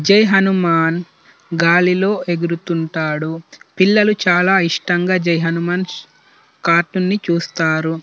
ఇక్కడ జై హనుమాన్ గాలిలో ఎగురుతుంటాడు పిల్లలు చాలా ఇష్టంగా జై హనుమాన్ కార్టూన్ ని చూస్తారు.